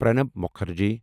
Pranab Mukherjee